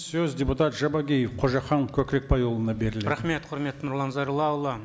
сөз депутат жабағиев қожахан көкірекбайұлына беріледі рахмет құрметті нұрлан зайроллаұлы